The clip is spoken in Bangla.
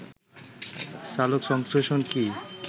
সালোকসংশ্লেষণ কী